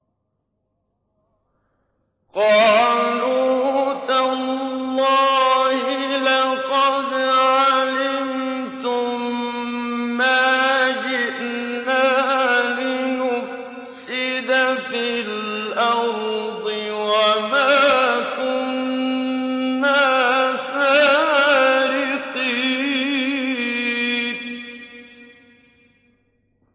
قَالُوا تَاللَّهِ لَقَدْ عَلِمْتُم مَّا جِئْنَا لِنُفْسِدَ فِي الْأَرْضِ وَمَا كُنَّا سَارِقِينَ